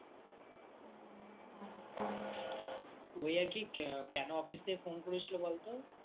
ওই আরকি কেন Office থেকে Phone করেছিল বলতো